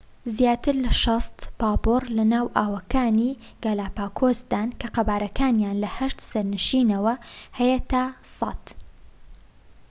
زیاتر لە ٦٠ پاپۆر لەناو ئاوەکانی گالاپاگۆسدان، کە قەبارەکانیان لە ٨ سەرنشینەوە هەیە تا ١٠٠